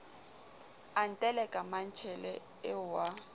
a nteleka mmantshele eo wa